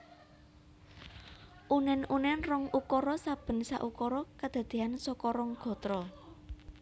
Unen unen rong ukara saben saukara kadadean saka rong gatra